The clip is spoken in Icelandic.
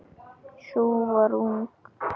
Sú var ung!